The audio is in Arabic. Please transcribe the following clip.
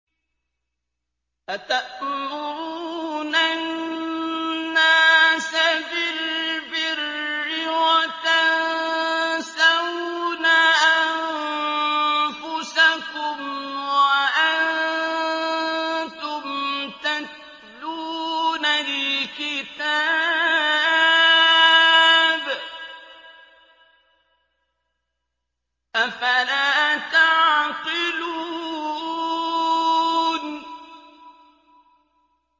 ۞ أَتَأْمُرُونَ النَّاسَ بِالْبِرِّ وَتَنسَوْنَ أَنفُسَكُمْ وَأَنتُمْ تَتْلُونَ الْكِتَابَ ۚ أَفَلَا تَعْقِلُونَ